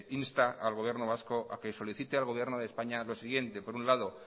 insta al gobierno vasco a que solicite al gobierno de españa lo siguiente por un lado